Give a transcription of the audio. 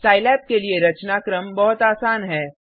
Scilab के लिए रचनाक्रम बहुत आसान है